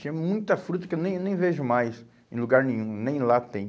Tinha muita fruta que eu nem nem vejo mais em lugar nenhum, nem lá tem.